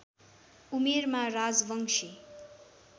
उमेरमा राजवंशी